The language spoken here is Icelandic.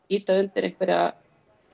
ýta undir einhverja